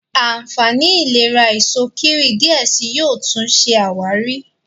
ànfàní ìlera Èso kíwì diẹ síi yóò tún ṣe àwárí.